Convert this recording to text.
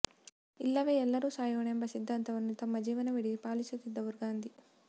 ಇಲ್ಲವೇ ಎಲ್ಲರೂ ಸಾಯೋಣ ಎಂಬ ಸಿದ್ಧಾಂತವನ್ನು ತಮ್ಮ ಜೀವನವಿಡೀ ಪಾಲಿಸುತ್ತಿದ್ದವರು ಗಾಂಧಿ